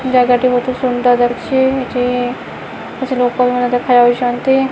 ଜାଗାଟି ବହୁତ୍ ସୁନ୍ଦର୍ ଯାଉଛି ଏଠି କିଛି ଲୋକମାନେ ଦେଖାଯାଉଚନ୍ତି ।